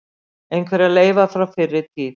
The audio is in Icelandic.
Einhverjar leifar frá fyrri tíð.